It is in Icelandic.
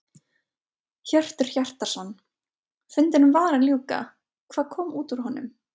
Hjörtur Hjartarson: Fundinum var að ljúka, hvað kom út úr honum?